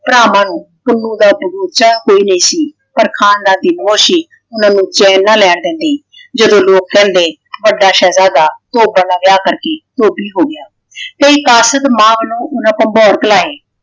ਭਰਾਵਾਂ ਨੂੰ ਪੁੰਨੂੰ ਦਾ ਦਬੋਚਾ ਕੋਈ ਨਹੀ ਸੀ। ਪਰ ਖਾਨਦਾਨੀ ਮੋਹ ਸੀ। ਉਹਨਾਂ ਨੂੰ ਚੈਨ ਨਾ ਲੈਣ ਦਿੰਦੀ। ਜਦੋ ਲੋਕ ਕਹਿੰਦੇ ਵੱਡਾ ਸ਼ਹਿਜ਼ਾਦਾ ਧੋਬਣ ਨਾਲ ਵਿਆਹ ਕਰਕੇ ਧੋਬੀ ਹੋ ਗਿਆ। ਕਈ ਕਾਸਤ ਮਾਪ ਨੂੰ ਉਹਨਾਂ ਭੰਬੋਰ ਕਲਾਏ।